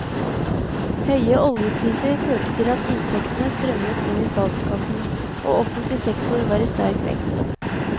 Høye oljepriser førte til at inntektene strømmet inn i statskassen, og offentlig sektor var i sterk vekst.